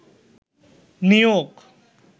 নিয়োগ